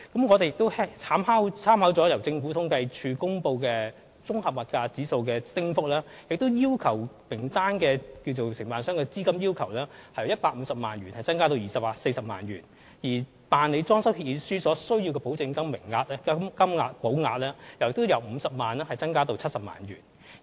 我們亦參考了由政府統計處公布的綜合消費物價指數的升幅，將參考名單內承辦商的資金要求由150萬元增加至240萬元，而所須的銀行保證書的金額亦由50萬元增加至70萬元。